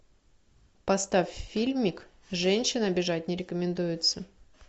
поставь фильмик женщин обижать не рекомендуется